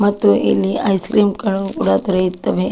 ಮತ್ತು ಇಲ್ಲಿ ice cream ಗಳು ಕೂಡ ದೊರೆಯುತ್ತವೆ.